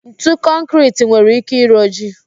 Ntu kọnkịriti nwere ike ịroji